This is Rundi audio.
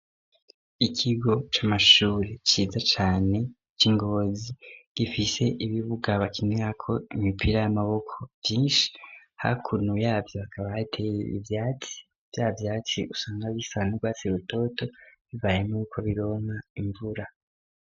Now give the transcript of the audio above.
Ikigo c'amashuri ciza cane c'ingozi gifise ibibuga bakinirako ko imipira y'amaboko vyinshi hakuntu yavyo akaba teye ibyatsi bya byatsi usanga bisa n'urwatsi rutoto bibayemo ko bironka imvura.